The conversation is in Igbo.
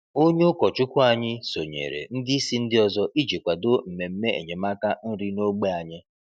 Onye ụkọchukwu anyị sonyeere ndị isi ndị ọzọ iji kwado mmemme enyemaka nri n’ógbè anyị.